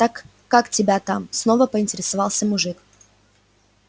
так как тебя там снова поинтересовался мужик